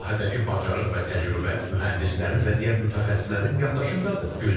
Bu sahədəki bacarıq və təcrübə mühəndislərin və digər mütəxəssislərin yaddaşındadır.